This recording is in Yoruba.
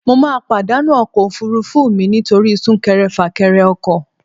Mo ma pàdánù ọkọ̀ òfurufú mi nítorí súnkere-fàkere ọkọ